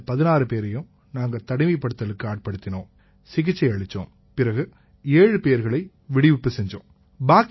இந்த 16 பேரையும் நாங்க தனிமைப்படுத்தலுக்கு ஆட்படுத்தினோம் சிகிச்சை அளிச்சோம்பிறகு 7 பேர்களை விடுவிப்பு செஞ்சோம்